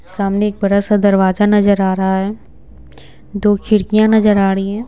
सामने एक बड़ा सा दरवाजा नजर आ रहा है दो खिड़कियां नजर आ रही हैं।